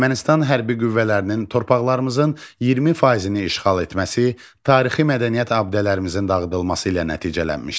Ermənistan hərbi qüvvələrinin torpaqlarımızın 20 faizini işğal etməsi tarixi mədəniyyət abidələrimizin dağıdılması ilə nəticələnmişdi.